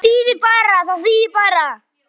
Það þýðir bara.